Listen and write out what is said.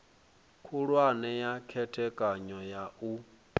khulwane ya khethekanyo ya u